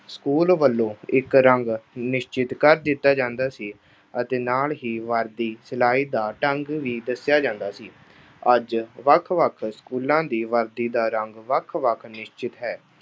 School ਵੱਲੋਂ ਇੱਕ ਰੰਗ ਨਿਸ਼ਚਿਤ ਕਰ ਦਿੱਤਾ ਜਾਂਦਾ ਸੀ ਅਤੇ ਨਾਲ ਹੀ ਵਰਦੀ ਸਿਲਾਈ ਦਾ ਢੰਗ ਵੀ ਦੱਸਿਆ ਜਾਂਦਾ ਸੀ। ਅੱਜ ਵੱਖ-ਵੱਖ ਸਕੂਲਾਂ ਦੀ ਵਰਦੀ ਦਾ ਰੰਗ ਵੱਖ-ਵੱਖ ਨਿਸ਼ਚਿਤ ਹੈ।